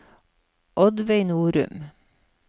Oddveig Norum